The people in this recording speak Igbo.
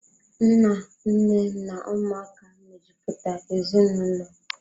Nna, Nne na Ụmụaka mejupụta ezinaụlọ.